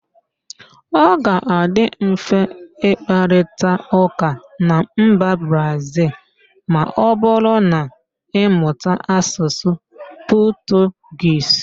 Ọ ga-adị mfe ịkparịtaụ́ká na mba Brazịl ma ọbụrụ na-ịmụta Asụsụ Pọtụgiz